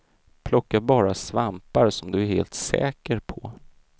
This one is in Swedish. Plocka bara svampar som du är helt säker på.